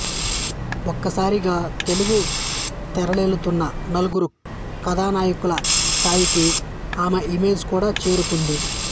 ఒక్క సారిగా తెలుగు తెరనేలుతున్న నలుగురు కథానాయకుల స్థాయికి ఆమె ఇమేజ్ కూడా చేరుకుంది